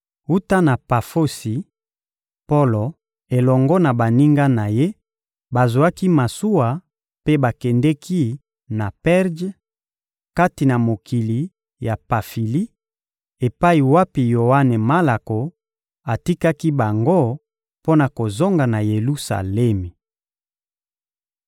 Wuta na Pafosi, Polo elongo na baninga na ye bazwaki masuwa mpe bakendeki na Perje, kati na mokili ya Pafili, epai wapi Yoane Malako atikaki bango mpo na kozonga na Yelusalemi.